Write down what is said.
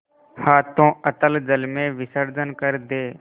हाथों अतल जल में विसर्जन कर दे